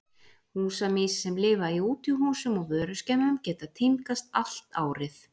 Húsamýs sem lifa í útihúsum og vöruskemmum geta tímgast allt árið.